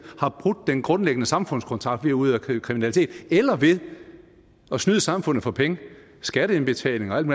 har brudt den grundlæggende samfundskontrakt ved at udøve kriminalitet eller ved at snyde samfundet for penge skatteindbetalinger og alt